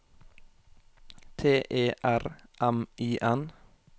T E R M I N